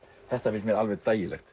þetta finnst mér alveg